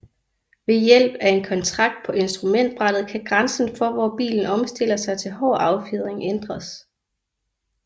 Ved hjælp af en kontakt på instrumentbrættet kan grænsen for hvor bilen omstiller sig til hård affjedring ændres